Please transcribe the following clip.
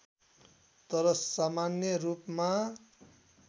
तर सामान्य रूपमा